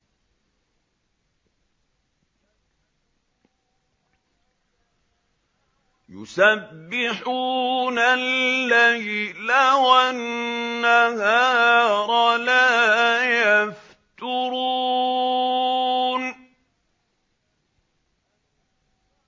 يُسَبِّحُونَ اللَّيْلَ وَالنَّهَارَ لَا يَفْتُرُونَ